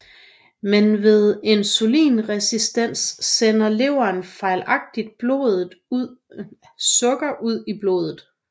Men ved insulinresistens sender leveren fejlagtigt sukker ud i blodet